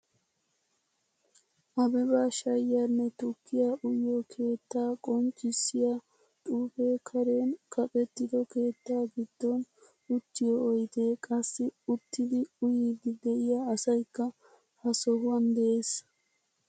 Abeba shayiyanne tukkiyaa uyiyo keetta qonccisiyaa xuufe karen kaqettido keettaa giddon uttiyo oyde, qassi uttidi uyidi de'iya asaykka ha sohuwan de'ees.